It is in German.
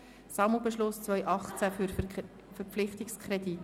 Sammelbeschluss 2018 für Verpflichtungskredite».